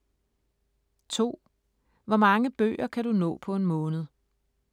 2) Hvor mange bøger kan du nå på en måned?